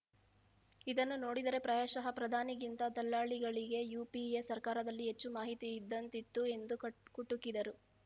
ಇದನ್ನು ನೋಡಿದರೆ ಪ್ರಾಯಶಃ ಪ್ರಧಾನಿಗಿಂತ ದಲ್ಲಾಳಿಗಳಿಗೇ ಯುಪಿಎ ಸರ್ಕಾರದಲ್ಲಿ ಹೆಚ್ಚು ಮಾಹಿತಿ ಇದ್ದಂತಿತ್ತು ಎಂದು ಕುಟುಕಿದರು